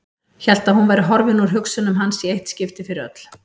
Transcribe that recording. Hélt að hún væri horfin úr hugsunum hans í eitt skipti fyrir öll.